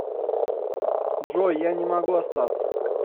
джой я не могу остаться